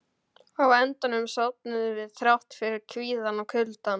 Á endanum sofnuðum við, þrátt fyrir kvíðann og kuldann.